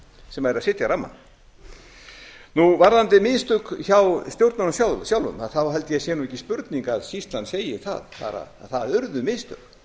sem eru að segja rammann varðandi mistök hjá stjórnunum sjálfum þá held ég að það sé ekki spurning að skýrslan segir að það urðu mistök